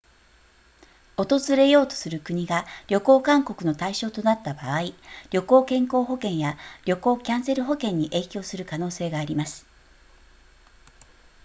訪れようとする国が旅行勧告の対象となった場合旅行健康保険や旅行キャンセル保険に影響する可能性があります